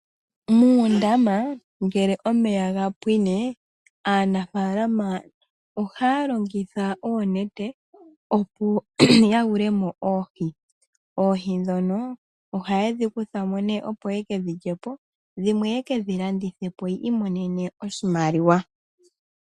Muundama ngele omeya gapwine, aanafaalama ohaya longitha oonete, opo yayulemo oohi. Oohi ndhono ohayedhi kuthamo opo yekedhi lyepo, yimwe yekedhi landithepo opo yiimonene iimaliwa.